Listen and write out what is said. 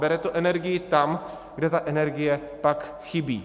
Bere to energii tam, kde ta energie pak chybí.